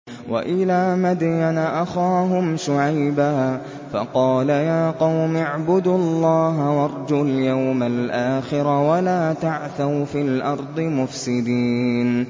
وَإِلَىٰ مَدْيَنَ أَخَاهُمْ شُعَيْبًا فَقَالَ يَا قَوْمِ اعْبُدُوا اللَّهَ وَارْجُوا الْيَوْمَ الْآخِرَ وَلَا تَعْثَوْا فِي الْأَرْضِ مُفْسِدِينَ